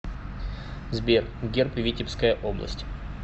сбер герб витебская область